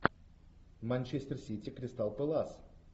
манчестер сити кристал пэлас